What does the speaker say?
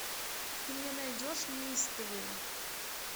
ты мне найдешь неистовые